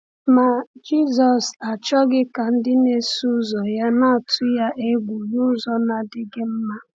Ma Jisọs achọghị ka ndị na-eso ya na-atụ ya egwu n’ụzọ na-adịghị mma.